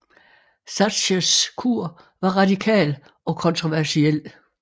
Thatchers kur var radikal og kontroversiel